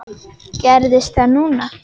Gerðist það núna?